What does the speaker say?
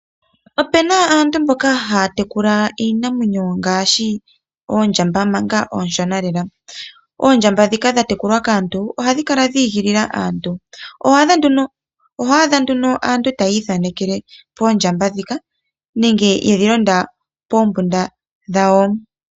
Ope na aantu mboka haya tekula iinamwenyo, ngaashi oondjamba manga oonshona lela. Oondjamba ndhika dha tekulwa kaantu oha dhi kala dhiigilila aantu. Oho adha nduno aantu tayii thaanekele poondjamba ndhika, nenge yedhi londa poombuda dhawo.